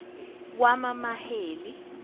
wamamaheli